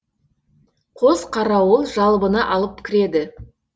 қос қарауыл жалбыны алып кіреді